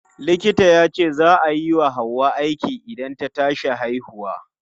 Likita yace za a yi wa Hauwa aiki idan ta tashi haihuwa.